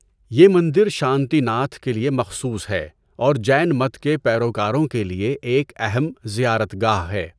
یہ مندر شانتی ناتھ کے لیے مخصوص ہے اور جین مت کے پیروکاروں کے لیے ایک اہم زیارت گاہ ہے۔